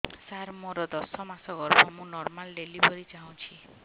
ସାର ମୋର ଦଶ ମାସ ଗର୍ଭ ମୁ ନର୍ମାଲ ଡେଲିଭରୀ ଚାହୁଁଛି